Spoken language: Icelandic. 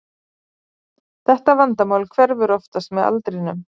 Þetta vandamál hverfur oftast með aldrinum.